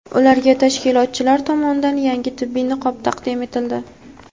ularga tashkilotchilar tomonidan yangi tibbiy niqob taqdim etildi.